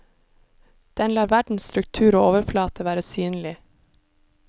Den lar vedens struktur og overflate være synlig.